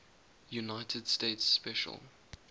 united states special